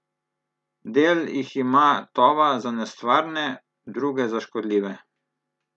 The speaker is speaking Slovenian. Del jih ima Tova za nestvarne, druge za škodljive.